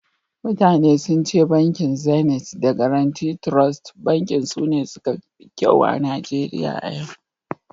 mutane sun ce bankin Zeniti da Gaaraunti Trost Bankin sune suka fi kyau a Najeriya a yau